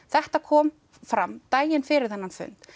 þetta kom fram daginn fyrir þennan fund